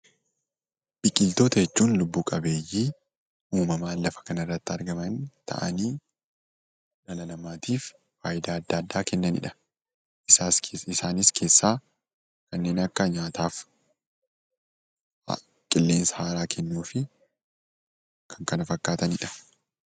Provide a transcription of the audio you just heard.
Biqiloota jechuun lubbuu qabeeyyii uumamaan lada kanarratti argaman ta'anii dhala namaatiif faayudaa adda addaa kennanidha. Isaan keessaa kanneen akka nyaataaf, qilleensa haaraa kennuu fi kan kana fakkaatanidha.